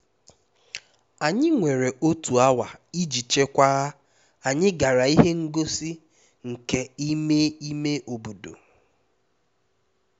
anyị nwere otu awa iji chekwaa anyị gara ihe ngosi nka n'ime ime obodo